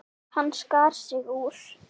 Hann skar sig úr.